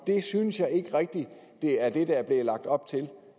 det synes jeg ikke rigtig er det der er blevet lagt op til